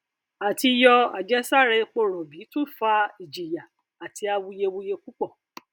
àtìyọ àjẹsára epo rọbì tún fa ìjìyà àti awuyewuye púpọ